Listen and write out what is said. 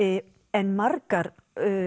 en margar